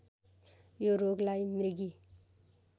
यो रोगलाई मृगी